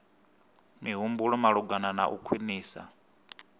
mihumbulo malugana na u khwinisa